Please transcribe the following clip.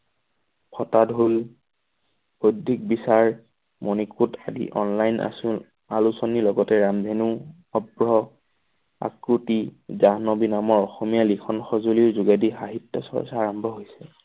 ফটা ঢোল বৈদ্ধিক বিচাৰ মণিকোট আদি অনলাইন আছো। আলোচনী লগতে ৰামধেনু কাকতি জাহ্নবী নামৰ অসমীয়া লিখন সঁজুলিৰ যোগেদি সাহিত্য চৰ্চা আৰম্ভ হৈছিল।